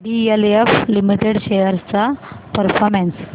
DLF limited shares चा performance